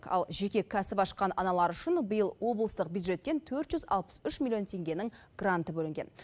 ал жеке кәсіп ашқан аналар үшін биыл облыстық бюджеттен төрт жүз алпыс үш миллион теңгенің гранты бөлінген